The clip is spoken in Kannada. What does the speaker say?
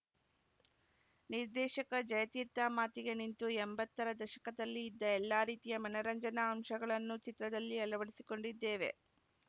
ನಿರ್ದೇಶಕ ಜಯತೀರ್ಥ ಮಾತಿಗೆ ನಿಂತು ಎಂಬತ್ತರ ದಶಕದಲ್ಲಿ ಇದ್ದ ಎಲ್ಲಾ ರೀತಿಯ ಮನರಂಜನಾ ಅಂಶಗಳನ್ನು ಚಿತ್ರದಲ್ಲಿ ಅಳವಡಿಸಿಕೊಂಡಿದ್ದೇವೆ